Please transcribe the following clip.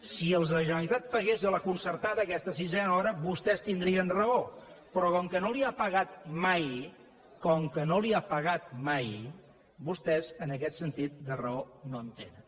si la generalitat pagués a la concertada aquesta sisena hora vostès tindrien raó però com que no la hi ha pagat mai com que no la hi ha pagat mai vostès en aquest sentit de raó no en tenen